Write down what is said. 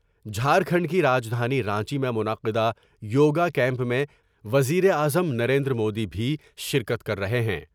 جھارکھنڈ کی رجدھانی رانچی میں منعقدہ یو گا کیمپ میں وزیر اعظم نریندر مودی بھی شرکت کر رہے ہیں ۔